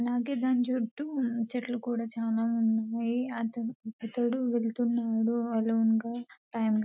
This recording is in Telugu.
అలాగే దాని చుట్టూ చెట్లు కూడా చాలా ఉన్నాయి వెళ్తున్నాడు అలొనె గా టైం --